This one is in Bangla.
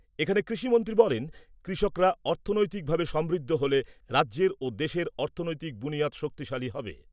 এখানে কৃষিমন্ত্রী বলেন, কৃষকরা অর্থনৈতিকভাবে সমৃদ্ধ হলে রাজ্যের ও দেশের অর্থনৈতিক বুনিয়াদ শক্তিশালী হবে।